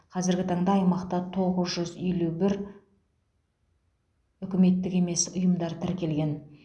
қазіргі таңда аймақта тоғыз жүз елу бір үкіметтік емес ұйымдар тіркелген